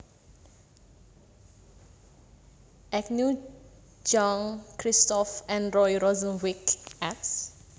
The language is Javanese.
Agnew Jean Christophe and Roy Rosenzweig eds